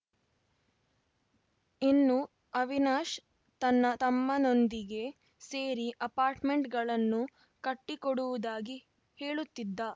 ಇನ್ನು ಅವಿನಾಶ್‌ ತನ್ನ ತಮ್ಮನೊಂದಿಗೆ ಸೇರಿ ಅಪಾರ್ಟ್‌ಮೆಂಟ್‌ಗಳನ್ನು ಕಟ್ಟಿಕೊಡುವುದಾಗಿ ಹೇಳುತ್ತಿದ್ದ